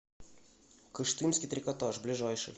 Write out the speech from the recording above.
кыштымский трикотаж ближайший